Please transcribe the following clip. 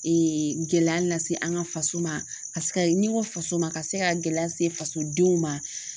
gɛlɛya lase an ka faso ma ka se ka ni n ko faso ma ka se ka gɛlɛya se fasodenw ma.